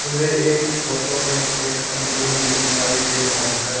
मुझे एक फोटो में एक आदमी भी दिखाई दे रहा है।